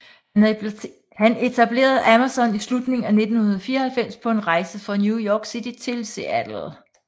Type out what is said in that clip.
Han etablerede Amazon i slutningen af 1994 på en rejse fra New York City til Seattle